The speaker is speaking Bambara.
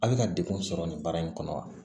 A bɛ ka degun sɔrɔ nin baara in kɔnɔ wa